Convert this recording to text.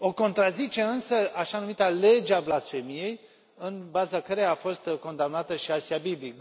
O contrazice însă așa numita lege a blasfemiei, în baza căreia a fostă condamnată și Asia Bibi.